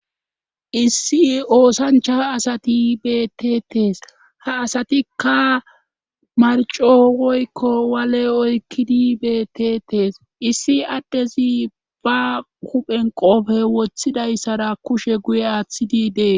issi oosanchaa asati betetees ha asatikka marco woykko wale oykkidi betetees issi addezi ba kuphen qoofe woththidayssara kushe guye aaththidi dees